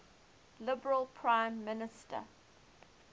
liberal prime minister